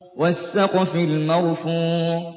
وَالسَّقْفِ الْمَرْفُوعِ